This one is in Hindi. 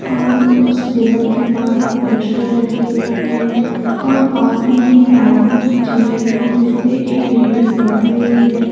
और उसे टेबल के पास एक पोस्टर लगी हुई है और पास में बैठने की चेयर है जिस पर एक लेडिज बैठी हुई है।